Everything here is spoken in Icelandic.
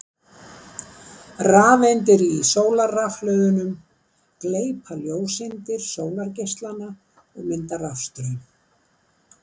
Rafeindir í sólarrafhlöðunum gleypa ljóseindir sólargeislanna og mynda rafstraum.